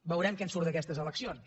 veurem què en surt d’aquestes eleccions